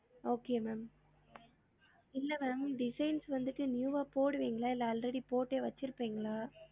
Okay ma'am இல்ல ma'am designs வந்திட்டு new ஆ போடுவிங்களா இல்ல already போட்டே வச்சிருபிங்களா